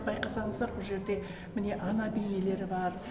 байқасаңыздар бұл жерде міне ана бейнелері бар